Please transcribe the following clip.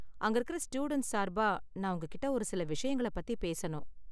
அங்க இருக்குற ஸ்டூடண்ட்ஸ் சார்பா, நான் உங்ககிட்ட ஒரு சில விஷயங்கள பத்திப் பேசணும்.